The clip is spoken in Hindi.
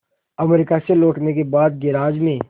अमेरिका से लौटने के बाद गैराज में